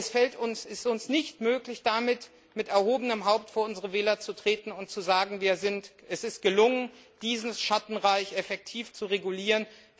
Es ist uns nicht möglich, damit mit erhobenem Haupt vor unsere Wähler zu treten und zu sagen, es sei gelungen, dieses Schattenreich effektiv zu regulieren.